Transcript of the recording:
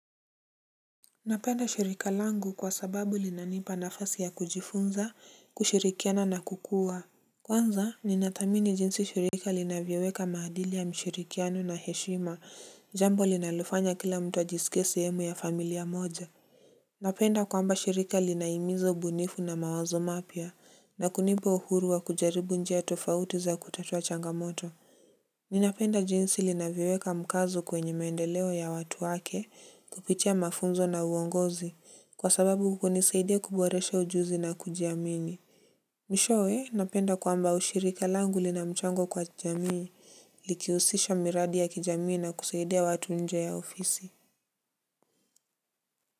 Napenda shirika langu kwa sababu linanipa nafasi ya kujifunza kushirikiana na kukua. Kwanza, ninathamini jinsi shirika linavyoweka maadili ya mshirikiano na heshima, jambo linalofanya kila mtu ajisikesi sehemu ya familia moja. Napenda kwamba shirika linahimiza ubunifu na mawazo mapya, na kunipa uhuru wa kujaribu njia tofauti za kutatua changamoto. Ninapenda jinsi linavyoweka mkazo kwenye maendeleo ya watu wake kupitia mafunzo na uongozi kwa sababu hunisaidia kuboresha ujuzi na kuji amini. Mwishowe napenda kwamba ushirika langu lina mchango kwa jamii likihusisha miradi ya kijamii na kusaidia watu nje ya ofisi.